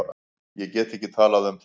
Ég get ekki talað um það.